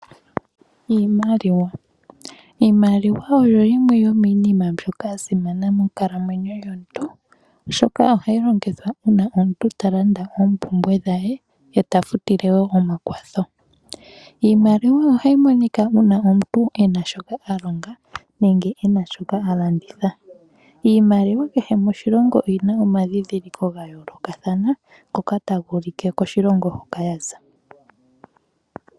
Iimaliwa, iimaliwa oyo yimwe yo miinima mbyoka ya simana monkalamwenyo yomuntu oshoka ohayi longithwa uuna omuntu ta landa oompumbwe dhaye yeta futile wo omakwatho. Iimaliwa ohayi monika uuna omuntu ena shoka a longa nenge ena shoka ha landitha. Iimaliwa kehe moshilongo oyina omadhidhiliko ga yoolokathana ngoka taga ulike koshilongo hoka yaza.